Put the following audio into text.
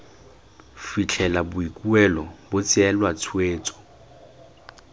fitlhela boikuelo bo tseelwa tshwetso